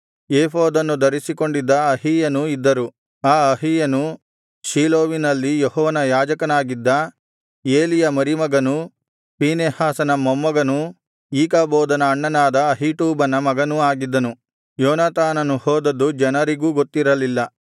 ಏಫೋದನ್ನು ಧರಿಸಿಕೊಂಡಿದ್ದ ಅಹೀಯನೂ ಇದ್ದರು ಆ ಅಹೀಯನು ಶೀಲೋವಿನಲ್ಲಿ ಯೆಹೋವನ ಯಾಜಕನಾಗಿದ್ದ ಏಲಿಯ ಮರಿಮಗನೂ ಫೀನೆಹಾಸನ ಮೊಮ್ಮಗನೂ ಈಕಾಬೋದನ ಅಣ್ಣನಾದ ಅಹೀಟೂಬನ ಮಗನೂ ಆಗಿದ್ದನು ಯೋನಾತಾನನು ಹೋದದ್ದು ಜನರಿಗೂ ಗೊತ್ತಿರಲಿಲ್ಲ